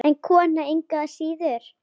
En kona engu að síður.